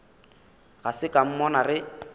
ga se ka mmona ge